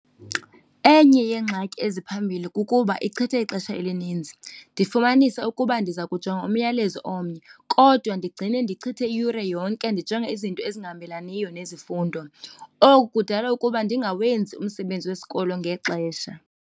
Enye yeengxaki eziphambili kukuba ichitha ixesha elininzi. Ndifumanisa ukuba ndiza kujonga umyalezo omnye kodwa ndigcine ndichithe iyure yonke ndijonge izinto ezingahambelaniyo nezifundo, oku kudala ukuba ndingawenzi umsebenzi wesikolo ngexesha.